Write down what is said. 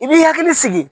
I b'i hakili sigi